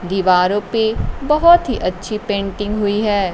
दीवारों पे बहुत ही अच्छी पेंटिंग हुई है।